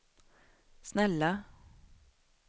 snälla